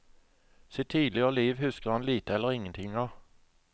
Sitt tidligere liv husker han lite eller ingenting av.